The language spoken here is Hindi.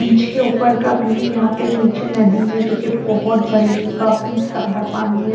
बीच के ऊपर का व्यू है यहां पे नीचे नदी है जो कि बहुत भरी हुई काफी सादा पानी है।